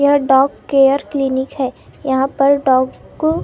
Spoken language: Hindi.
यह डॉग केयर क्लिनिक है यहाँ पर डॉग को।